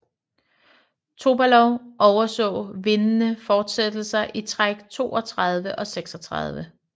Topalov overså vindende fortsættelser i træk 32 og 36